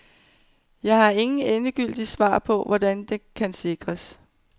Jeg har ingen endegyldige svar på, hvordan det kan sikres.